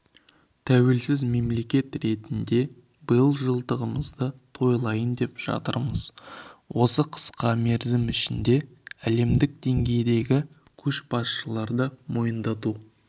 тәуелсіз мемлекет ретінде биыл жылдығымызды тойлайын деп жатырмыз осы қысқа мерзім ішінде әлемдік деңгейдегі көшбасшыларды мойындату